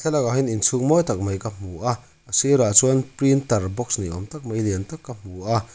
lakah hian inchhung mawi tak mai ka hmu a a sirah chuan printer box ni awm tak mai lian tak ka hmu a.